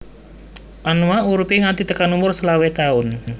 Anoa uripe nganti tekan umur selawe taun